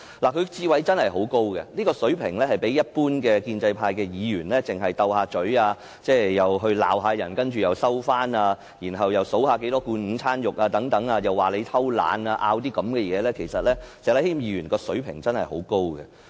他的智慧真的很高，與一般的建制派議員比較，例如那些只懂口舌之爭，罵人之後又收回指責、只會點算有多少罐午餐肉和批評別人躲懶的議員，石禮謙議員的水平真的很高。